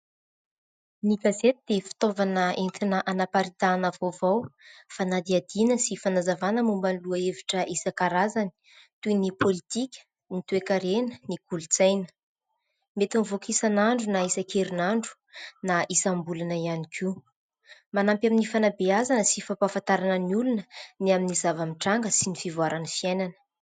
Ny gazety dia : fitaovana entina anaparitahana vaovao, fanadihadihana sy fanazavana momba ny lohahevitra isan-karazany toy ny : pôlitika, ny toe-karena, ny kolontsaina, mety mivoaka isan' andro na isan-kerinandro na isam-bolana ihany koa. Manampy amin' ny fanabeazana sy fampahafantarana ny olona ny amin' ny zava-mitranga sy ny fivoaran' ny fiainana.